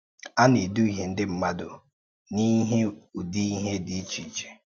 À na-èdùhìè ǹdí mmádù n’ìhè ùdí ìhè dị ìchè ìchè.